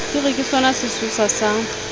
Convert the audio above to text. di re ke sonasesosa sa